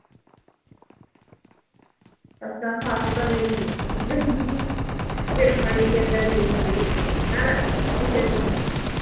ਉੱਤੋਂ ਸੱਸ ਤਾਂ ਮੇਰੀ ਜੇਠਾਣੀ ਵੀ ਏਦਾਂ ਦੀ ਹੋਈ ਮੇਰੀ ਅੱਗੇ ਹੈਨਾ ਕਿਸੇ ਦੀ ਵੀ